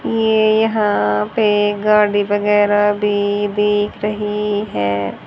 ये यहां पे गाड़ी वगैराह भी देख रही है।